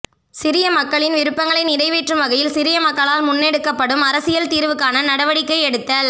சிரிய மக்களின் விருப்பங்களை நிறைவேற்றும் வகையில் சிரிய மக்களால் முன்னெடுக்கப்படும் அரசியல் தீர்வுக்கான நடவடிக்கை எடுத்தல்